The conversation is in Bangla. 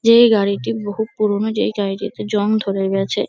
এই গাড়িটি বহুত পুরোনো যেই গাড়িটিতে জং ধরে গেছে।